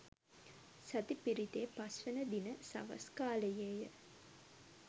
සති පිරිතේ පස්වන දින සවස් කාලයේ ය.